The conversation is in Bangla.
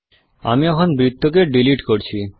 আমি এখন বৃত্তকে ডীলিট করছি